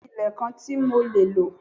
Bẹ́ẹ̀ni, mo ni ilé kan ti mo le lo.